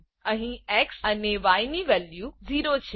અહી એક્સ અને ય ની વેલ્યુ 0 છે